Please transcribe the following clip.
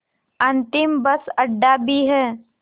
अंतिम बस अड्डा भी है